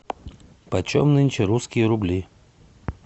почем нынче русские рубли